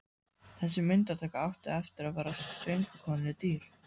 Þessi myndataka átti eftir að verða söngkonunni dýr.